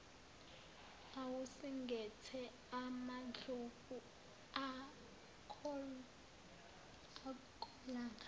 awusingethe amandlovu akolanga